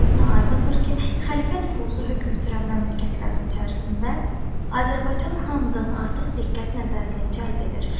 Özünə aydındır ki, xəlifə nüfuzu hökm sürən məmləkətlərin içərisində Azərbaycan hamıdan artıq diqqət nəzərini cəlb edir.